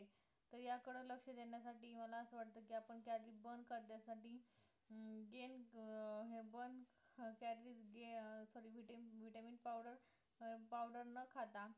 तर या कडे लक्ष देण्यासाठी मला असं वाटतं की आपण calorie burn करण्यासाठी अं gain अं हे burn calories calorie vitamin powder vitamin powder powder न खाता